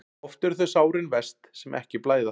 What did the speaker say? Oft eru þau sárin verst sem ekki blæða.